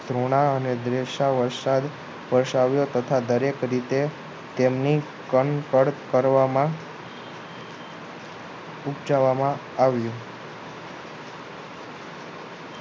ધુણા અને દ્વેષાઓએ વરસાદ વરસાવ્યો તથા દને અનેક દરેક રીતે તેમને કણ કણ કરવામાં ઉપજાવવામાં આવ્યું